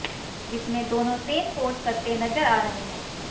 जिसमें दोनों same pose करते नजर आ रहे हैं